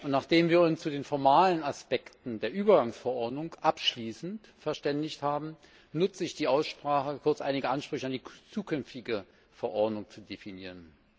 Nachdem wir uns zu den formalen Aspekten der Übergangsverordnung abschließend verständigt haben, nutze ich die Aussprache, um kurz einige Ansprüche an die zukünftige Verordnung zu definieren.